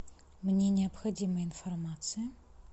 мне необходима информация